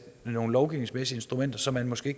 nogle lovgivningsmæssige instrumenter som man måske